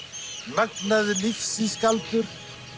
magnaður lífsins galdur